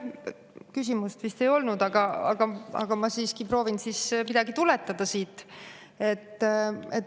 Küsimust vist ei olnud, aga ma siiski proovin midagi tuletada siit.